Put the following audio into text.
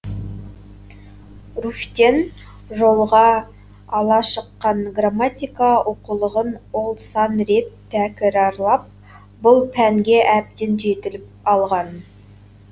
руфьтен жолға ала шыққан грамматика оқулығын ол сан рет тәкірарлап бұл пәнге әбден жетіліп алған